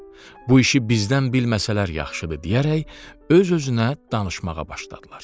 Bu işi bizdən bilməsələr yaxşıdır, deyərək öz-özünə danışmağa başladılar.